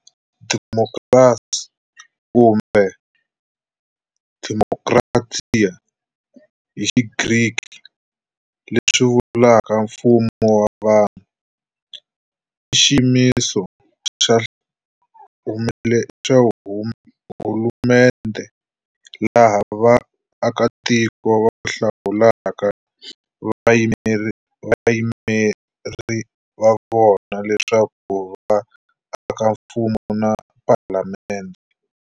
Demokhrasi, Kumbe dēmokratía hi xigriki, leswi vulaka Mfumo wa vanhu, i xiyimiso xa hulumendhe laha vaakatiko va hlawulaka vayimeri vavona leswaku va aka mfumo na Phalamendhe.